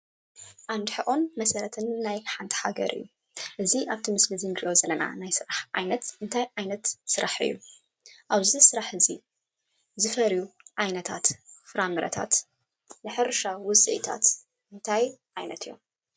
ዓንዲ ሕቆን መሰረት ናይ ሓንቲ ሃገር እዩ። እቱይ ኣብዚ ምስሊ እንርእዮ ዘለና ናይ ስራሕ ዓይነት እንታይ ዓይነት ስራሕ እዩ? ኣብዚይ ስራሕ እዙይ ዝፈርዩ ዓይነታት ፍራምረታት ናይ ሕርሻ ውፅኢታት እንታይ ዓይነት እዮም?